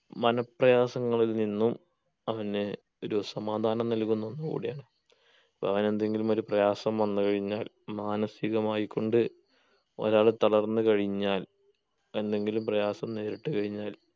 മനഃപ്രയാസങ്ങളിൽ നിന്നും അങ്ങനെ ഒരു സമാധാനം നകുന്ന ഒന്ന് കൂടിയാണ് അപ്പങ്ങനെന്തെങ്കിലും ഒരു പ്രയാസം വന്ന് കഴിഞ്ഞാൽ മാനസികമായിക്കൊണ്ട് ഒരാള് തളർന്ന് കഴിഞ്ഞാൽ എന്തെങ്കിലും പ്രയാസം നേരിട്ട് കഴിഞ്ഞാൽ